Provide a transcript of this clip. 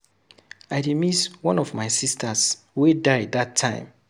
I dey miss one of my sisters wey die dat time.